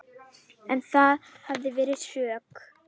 En það hefði verið skrök.